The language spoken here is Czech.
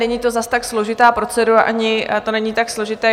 Není to zase tak složitá procedura ani to není tak složité.